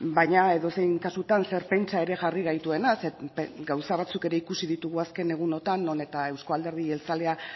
baina edozein kasutan zer pentsa ere jarri gaituena zeren gauza batzuk ere ikusi ditugu azken egunotan non eta euzko alderdi jeltzalea